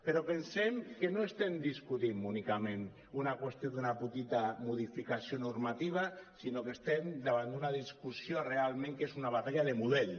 però pensem que no estem discutint únicament una qüestió d’una petita modificació normativa sinó que estem davant d’una discussió realment que és una batalla de model